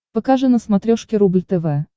покажи на смотрешке рубль тв